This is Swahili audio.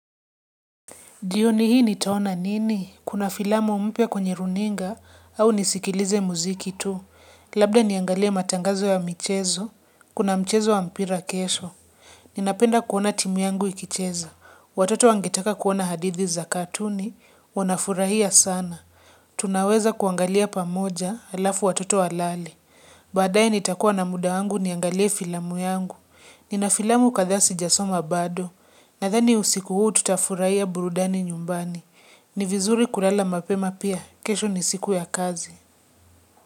Jioni hii nitaona nini? Kuna filamu mpya kwenye runinga au nisikilize muziki tu. Labda niangalie matangazo ya mchezo, kuna mchezo wa mpira kesho. Ninapenda kuona timu yangu ikicheza. Watoto wangetaka kuona hadithi za katuni, wanafurahia sana. Tunaweza kuangalia pamoja halafu watoto walale. Baadaye nitakuwa na muda yangu niangalie filamu yangu. Nina filamu kadhaa sijasoma bado. Nadhani usiku huu tutafurahia burudani nyumbani. Ni vizuri kulala mapema pia, kesho ni siku ya kazi.